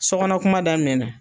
So kɔnɔ kuma daminɛ na.